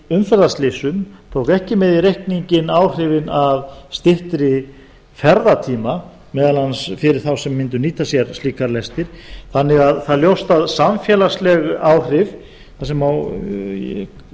umferðarslysum tók ekki með í reikninginn áhrifin af styttri ferðatíma meðal annars fyrir þá sem mundu nýta sér slíkar lestir þannig að það er ljóst að samfélagsleg áhrif sem má